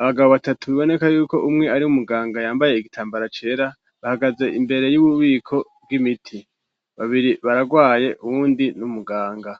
abagabo batatu biboneka yuko umwe ari muganga yambaye igitambara cera, bahagaze imbere y'ububiko bw'imiti, babiri bararwaye uwundi n'umuganga.